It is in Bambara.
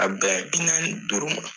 A bɛ bɛn bi naan ni duuru ma.